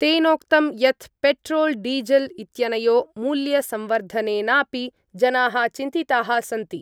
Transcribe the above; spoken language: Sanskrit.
तेनोक्तं यत् पेट्रोल् डीजल् इत्यनयो मूल्यसंवर्धनेनापि जनाः चिन्तिताः सन्ति।